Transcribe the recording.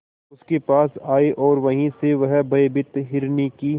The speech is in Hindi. उसके पास आए और वहीं से वह भयभीत हिरनी की